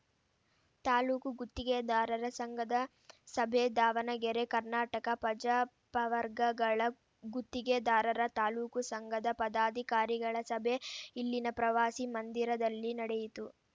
ತಾಲೂಕು ಗುತ್ತಿಗೆದಾರರ ಸಂಘದ ಸಭೆ ದಾವಣಗೆರೆ ಕರ್ನಾಟಕ ಪಜಾ ಪವರ್ಗಗಳ ಗುತ್ತಿಗೆದಾರರ ತಾಲೂಕು ಸಂಘದ ಪದಾಧಿಕಾರಿಗಳ ಸಭೆ ಇಲ್ಲಿನ ಪ್ರವಾಸಿ ಮಂದಿರದಲ್ಲಿ ನಡೆಯಿತು